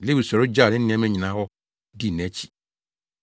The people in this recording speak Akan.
Lewi sɔre gyaw ne nneɛma nyinaa hɔ dii nʼakyi.